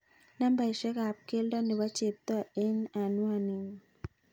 Nambaisyek ab keldo nebo Cheptoo en anwaninyun